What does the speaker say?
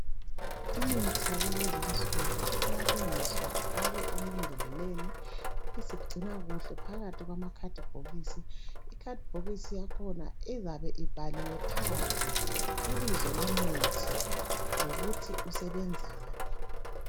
imithi yakulezinsuku iyalungiswa ifakwe emambodleleni ibisigcinwa kuhle phakathi kwamabhokisi ikhathibokisi yakhona izabe ibhaliwe phandle ibizo lomuthi lokuthi usebenzani